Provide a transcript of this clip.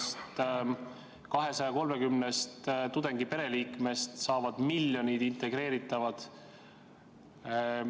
... sest 230-st tudengi pereliikmest saavad miljonid integreeritavad.